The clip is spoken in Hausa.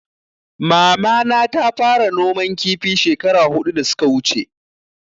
Mama na ta fara noman kifi shekara hudu da suka wuche